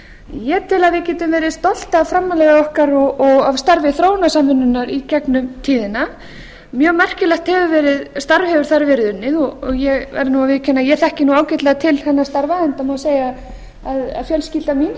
ég tel að við getum verið stolt af framlagi okkar og af starfi þróunarsamvinnunnar í gegnum tíðina mjög merkilegt starf hefur þar verið unnið og ég verð nú að viðurkenna að ég þekki ágætlega til hennar starfa enda má segja að fjölskylda mín hafi tekið þátt